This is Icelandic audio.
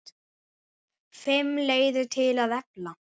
FIMM LEIÐIR TIL AÐ EFLA